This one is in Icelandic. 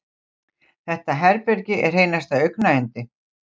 Þetta herbergi er hreinasta augnayndi.